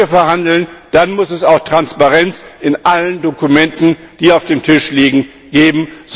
Wenn wir verhandeln, dann muss es auch Transparenz in allen Dokumenten, die auf dem Tisch liegen, geben.